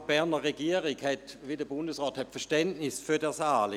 Auch die Berner Regierung hat, wie der Bundesrat, Verständnis für dieses Anliegen.